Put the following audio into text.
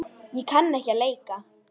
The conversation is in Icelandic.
Ég kann ekki að leika.